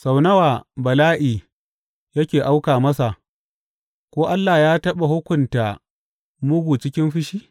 Sau nawa bala’i yake auka masa, ko Allah ya taɓa hukunta mugu cikin fushi?